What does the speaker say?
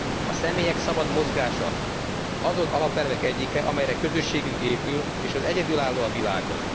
A személyek szabad mozgása azon alapelvek egyike, amelyekre közösségünk épül, és ez egyedülálló a világon.